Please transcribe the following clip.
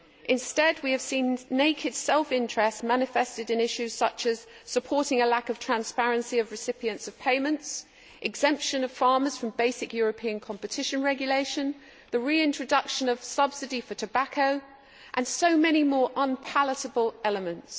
Instead, we have seen naked self interest manifested in issues such as supporting a lack of transparency of recipients of payments, exemption of farmers from basic European competition regulation, the reintroduction of subsidy for tobacco and many more unpalatable elements.